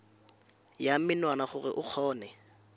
ya menwana gore o kgone